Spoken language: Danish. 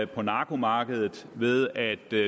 på narkomarkedet ved at